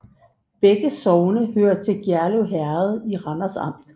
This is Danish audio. Begge sogne hørte til Gjerlev Herred i Randers Amt